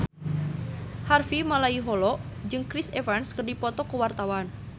Harvey Malaiholo jeung Chris Evans keur dipoto ku wartawan